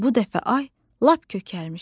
Bu dəfə ay lap kökəlmişdi.